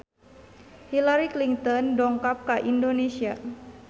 Hillary Clinton dongkap ka Indonesia